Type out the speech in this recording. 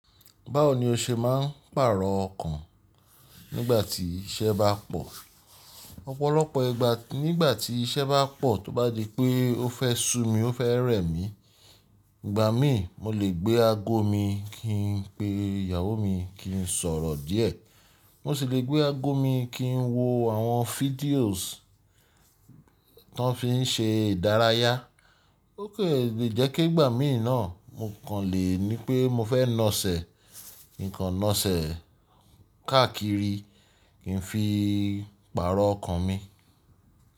Báwo ni o ṣe máa ń pàrọ̀ ọkàn nígbà tí iṣẹ́ bá pọ̀? Ọ̀pọ̀lọpọ̀ ìgbà nígbà tí iṣẹ́ bá pọ̀ tó bá di pé ó fẹ́ sú mi, ó fẹ́ rẹ̀ mí, ìgbà mí mo lè gbé aago mi kí n pe ìyàwó mi kí n sọ̀rọ̀ díẹ̀. Mo sì lè gbé aago mi kí n wo àwọn videos tó fi ń ṣe ìdárayá. Ó kan lè jẹ́ pe ìgbà mí náà mo kàn lè ní pé mo fẹ́ nasẹ̀, kin n kan nasẹ̀ káàkiri kí n fi pàrọ̀ ọkàn mi.